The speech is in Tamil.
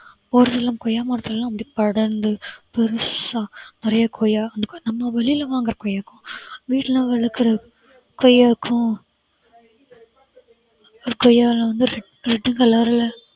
ஒரு சில கொய்யா மரத்தில எல்லாம் அப்படி படர்ந்து பெருசா நிறைய கொய்யா நம்ம வெளியில வாங்குற கொய்யாவுக்கும் வீட்ல வளர்க்கிற கொய்யாவுக்கும் ஒரு கொய்யாவில வந்து red red color ல